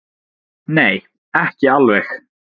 Nei, ekki alveg.